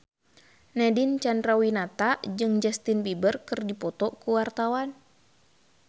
Nadine Chandrawinata jeung Justin Beiber keur dipoto ku wartawan